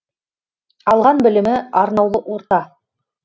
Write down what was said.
алған білімі арнаулы орта